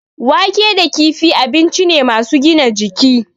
Wake da kifi abinci ne masu gina jiki.